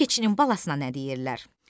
Bəs keçinin balasına nə deyirlər?